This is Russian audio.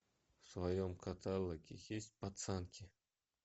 в твоем каталоге есть пацанки